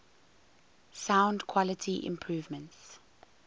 sound quality improvements